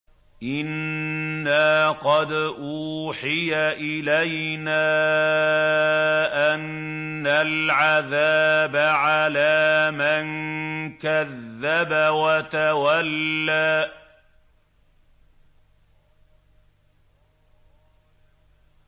إِنَّا قَدْ أُوحِيَ إِلَيْنَا أَنَّ الْعَذَابَ عَلَىٰ مَن كَذَّبَ وَتَوَلَّىٰ